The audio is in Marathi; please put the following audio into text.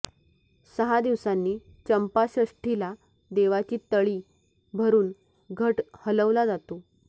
सहा दिवसांनी चंपाषष्ठीला देवाची तळी भरून घट हलवला जातो